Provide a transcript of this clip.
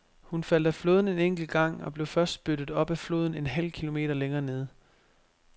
Hun faldt af flåden en enkelt gang og blev først spyttet op af floden en halv kilometer længere nede.